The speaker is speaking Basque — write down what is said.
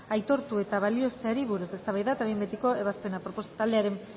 aitortu eta balioesteari buruz eztabaida eta behin betiko ebazpena